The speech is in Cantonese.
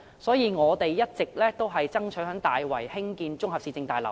所以，我們一直爭取在大圍興建綜合市政大樓。